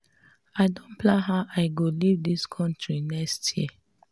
i don plan how i go leave dis country next year